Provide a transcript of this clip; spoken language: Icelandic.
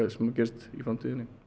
sem gerist í framtíðinni